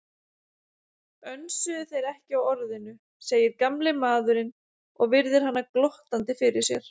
Önsuðu þeir ekki á Orðinu, segir gamli maðurinn og virðir hana glottandi fyrir sér.